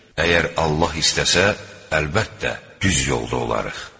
Əgər Allah istəsə, əlbəttə, düz yolda olarıq.